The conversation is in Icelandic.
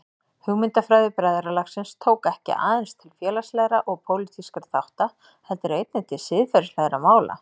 Hugmyndafræði bræðralagsins tók ekki aðeins til félagslegra og pólitískra þátta heldur einnig til siðferðislegra mála.